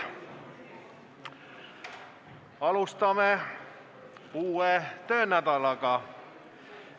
Alustame Riigikogu täiskogu istungit.